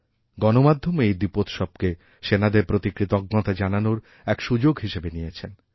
গণমাধ্যমও এই দীপোৎসবকে সেনাদের প্রতি কৃতজ্ঞতাজানানোর এক সুযোগ হিসেবে নিয়েছেন